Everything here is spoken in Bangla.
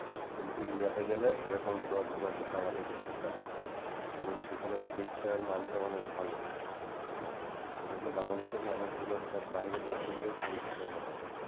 কিন্তু ইন্ডিয়াতে গেলে সেরকম কোনো ভোগান্তিতে আমাদেরকে পড়তে হয়না এবং সেখানে চিকিৎসার মানটাও অনেক ভালো এজন্য বাংলাদেশের মানুষগুলো সব বাইরের দেশে গিয়ে চিকিৎসাটা করায়।